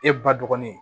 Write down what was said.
E ba dɔgɔnin